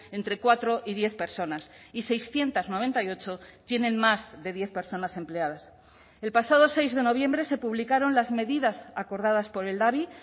entre cuatro y diez personas y seiscientos noventa y ocho tienen más de diez personas empleadas el pasado seis de noviembre se publicaron las medidas acordadas por el labi